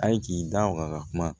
A' ye k'i da waga ka kuma